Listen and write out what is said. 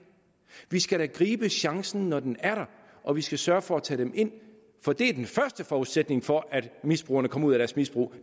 vi skal da gribe chancen når den er der og vi skal sørge for at tage dem ind for det er den første forudsætning for at misbrugerne kommer ud af deres misbrug